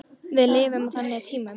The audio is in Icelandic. Við lifum á þannig tímum.